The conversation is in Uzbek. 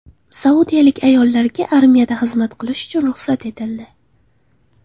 Saudiyalik ayollarga armiyada xizmat qilish ruxsat etildi.